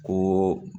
Ko